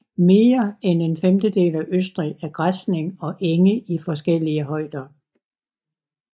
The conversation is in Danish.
Mere end en femtedel af Østrig er græsning og enge i forskellige højder